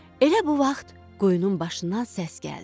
Elə bu vaxt quyunun başından səs gəldi.